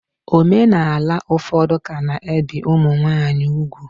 Omenala ụfọdụ ka na-ebi ụmụ nwanyị ugwu.